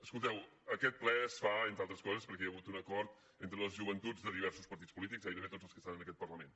escolteu aquest ple es fa entre altres coses perquè hi ha hagut un acord entre les joventuts de diversos partits polítics gairebé tots els que estan en aquest parlament